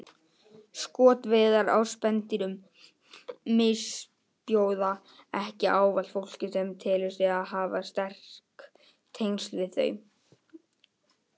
Skotveiðar á spendýrum misbjóða ekki ávallt fólki sem telur sig hafa sterk tengsl við þau.